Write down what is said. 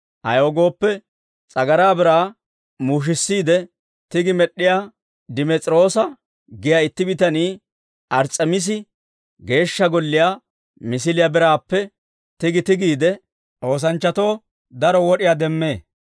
Ayaw gooppe, s'agaraa biraa muushissiide tigi med'd'iyaa Dimes'iroosa giyaa itti bitanii Ars's'emiisi Geeshsha Golliyaa misiliyaa biraappe tigi tigiide, oosanchchatoo daro wod'iyaa demmee.